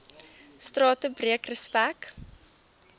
strate breek respek